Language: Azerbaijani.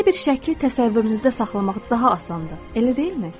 Belə bir şəkli təsəvvürünüzdə saxlamaq daha asandır, elə deyilmi?